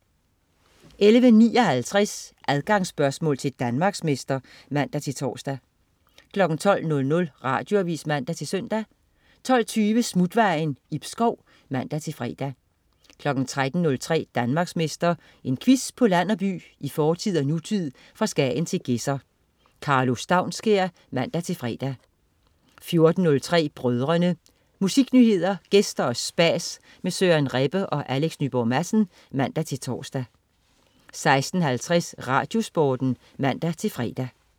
11.59 Adgangsspørgsmål til Danmarksmester (man-tors) 12.00 Radioavis (man-søn) 12.20 Smutvejen. Ib Schou (man-fre) 13.03 Danmarksmester. En quiz på land og by, i fortid og nutid, fra Skagen til Gedser. Karlo Staunskær (man-fre) 14.03 Brødrene. Musiknyheder, gæster og spas med Søren Rebbe og Alex Nyborg Madsen (man-tors) 16.50 RadioSporten (man-fre)